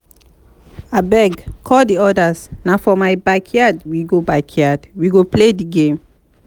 abeg call the others na for my backyard we go backyard we go play the game